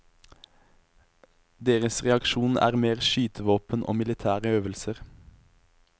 Deres reaksjon er mer skytevåpen og militære øvelser.